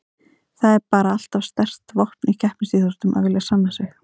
Það er bara alltaf sterkt vopn í keppnisíþróttum að vilja sanna sig.